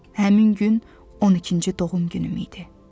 Həmin gün 12-ci doğum günüm idi.